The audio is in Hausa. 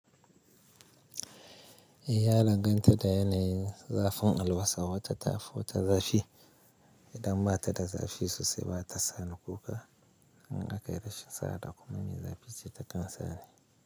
Eh ya danganta da yanayin zafin alwasa, wata ta fi wata zafi. Idan ba ta da zafi sosai ba ta sani. Kuka in aka yi rashin sa'a ta kuma me zafi ce ta kan sani.